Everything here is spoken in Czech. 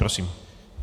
Prosím.